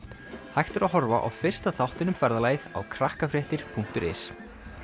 hægt er að horfa á fyrsta þáttinn um ferðalagið á punktur is